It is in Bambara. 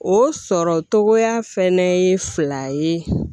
O sɔrɔ cogoya fɛnɛ ye fila ye